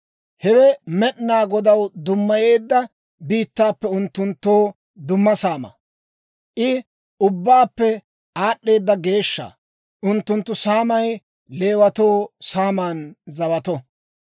Hewe Med'inaa Godaw dummayeedda biittaappe unttunttoo dumma saamaa; I ubbaappe aad'd'eeda geeshsha. Unttunttu saamay Leewatoo saaman zawato.